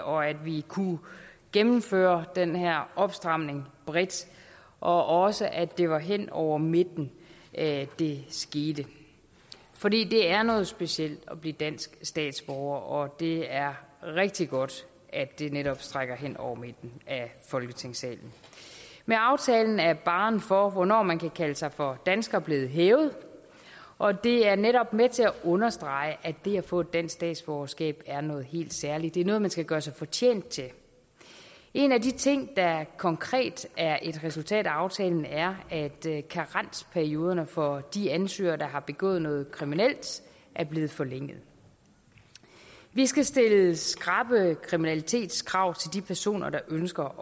og at vi kunne gennemføre den her opstramning bredt og også at det var hen over midten at det skete for det er noget specielt at blive dansk statsborger og det er rigtig godt at det netop strækker hen over midten af folketingssalen med aftalen er barren for hvornår man kan kalde sig for dansker blevet hævet og det er netop med til at understrege at det at få et dansk statsborgerskab er noget helt særligt det er noget man skal gøre sig fortjent til en af de ting der konkret er et resultat af aftalen er at karensperioderne for de ansøgere der har begået noget kriminelt er blevet forlænget vi skal stille skrappe kriminalitetskrav til de personer der ønsker